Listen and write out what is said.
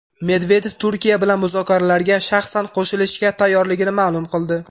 Medvedev Turkiya bilan muzokaralarga shaxsan qo‘shilishga tayyorligini ma’lum qildi.